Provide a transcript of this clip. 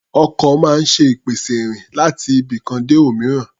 Ọkọ̀ máa ń ṣe ìpèsè ìrìn láti ibikan dé òmíràn.